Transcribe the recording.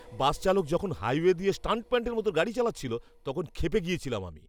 বাস চালক যখন হাইওয়ে দিয়ে স্টান্টম্যানের মতো গাড়ি চালাচ্ছিল, তখন ক্ষেপে গেছিলাম আমি।